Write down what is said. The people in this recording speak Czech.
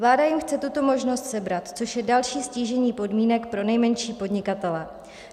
Vláda jim chce tuto možnost sebrat, což je další ztížení podmínek pro nejmenší podnikatele.